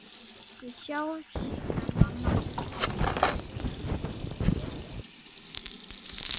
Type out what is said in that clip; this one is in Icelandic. Við sjáumst síðar, mamma.